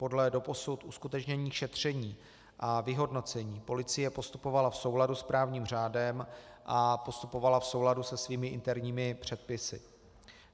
Podle doposud uskutečněných šetření a vyhodnocení policie postupovala v souladu s právním řádem a postupovala v souladu se svými interními předpisy.